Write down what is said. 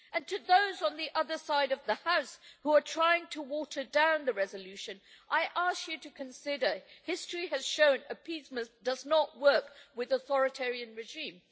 As for those on the other side of the House who are trying to water down the resolution, I ask you to consider history has shown that appeasement does not work with an authoritarian regime.